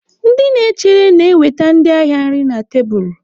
Ndị na-echere na-ewetara ndị ahịa nri na tebụl.